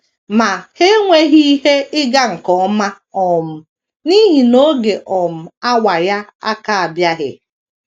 Ma, ha enweghị ihe ịga nke ọma um n’ihi na ‘ oge um awa ya aka - abịaghị. ’